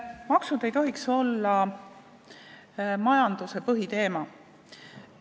Maksud ei tohiks olla majanduse põhiteema.